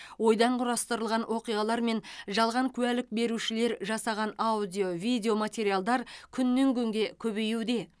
ойдан құрастырылған оқиғалар мен жалған куәлік берушілер жасаған аудио видео материалдар күннен күнге көбеюде